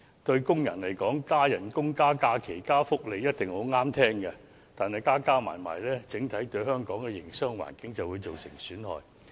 對工人來說，加工資、加假期、加福利一定很中聽，但全部相加起來，對香港整體的營商環境便會造成損害。